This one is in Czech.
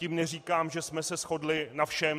Tím neříkám, že jsme se shodli na všem.